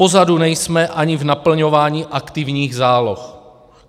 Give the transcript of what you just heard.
Pozadu nejsme ani v naplňování aktivních záloh.